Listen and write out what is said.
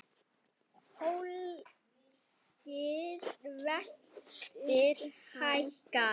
Pólskir vextir hækka